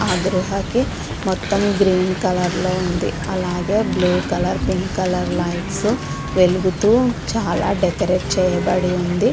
ఆ గృహ కి మొత్తం గ్రీన్ కలర్ లో ఉంది .అలాగే blue colour pink colour lights వెలుగుతూ చాల డెకరేట్ చేయబడి ఉంది .